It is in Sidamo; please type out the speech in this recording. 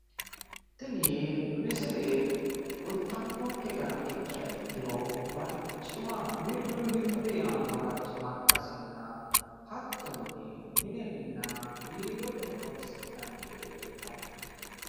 tini misile kultannoke gara ikkiha ikkiro barcima wirri wirri yaannoha barcimma ikkasina hattonni minenna biirote horonsi'nanni gede kultanno misileeti.